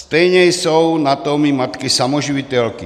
Stejně jsou na tom i matky samoživitelky.